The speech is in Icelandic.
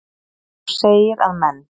En þú segir að menn.